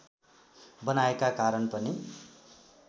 बनाएका कारण पनि